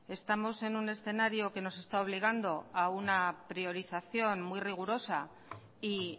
estamos en un escenario que nos está obligando a una priorización muy rigurosa y